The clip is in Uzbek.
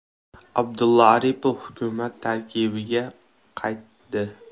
Abdulla Aripov hukumat tarkibiga qaytdi.